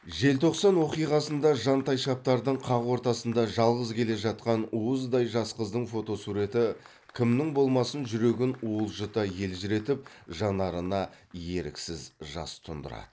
желтоқсан оқиғасында жандайшаптардың қақ ортасында жалғыз келе жатқан уыздай жас қыздың фотосуреті кімнің болмасын жүрегін уылжыта елжіретіп жанарына еріксіз жас тұндырады